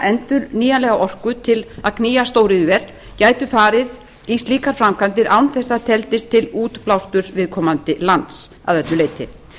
endurnýjanlega orku til að knýja stóriðjuver gætu farið í slíkar framkvæmdir án þess að það teldist til útblásturs viðkomandi lands að öllu leyti